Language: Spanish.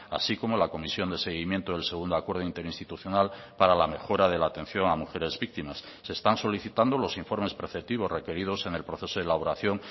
así como la comisión de seguimiento del segundo acuerdo interinstitucional para la mejora de la atención a mujeres víctimas se están solicitando los informes preceptivos requeridos en el proceso de elaboración